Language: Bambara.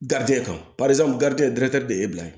kan de ye bila ye